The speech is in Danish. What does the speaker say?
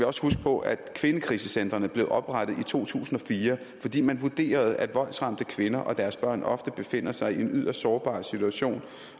også huske på at kvindekrisecentrene blev oprettet i to tusind og fire fordi man vurderede at voldsramte kvinder og deres børn ofte befinder sig i en yderst sårbar situation